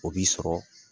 O b'i sɔrɔ